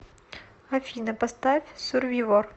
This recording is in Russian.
афина поставь сурвивор